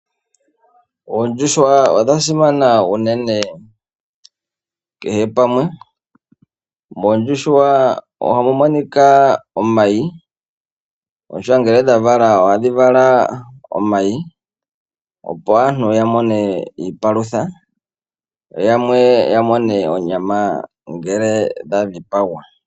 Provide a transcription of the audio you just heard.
Oondjuhwa odha simana uunene kehe pamwe, mondjuhwa ohamu monika omayi, ishewe ngele dha vala, ohadhi vala omayi opo aantu ya mone iipalutha, yo yamwe ya mone onyama uuna ngele dha dhipagwa.